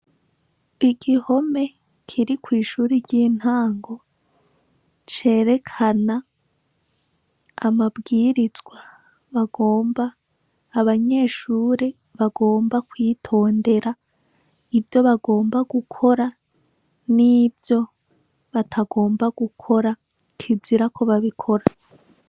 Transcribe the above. Igihome kiri kwishure ryintango cerekana amabwirizwa bagomba, abanyeshure bagomba kwitondera ivyo bagomba gukora nivyo batagomba gukora kizira ko babikora.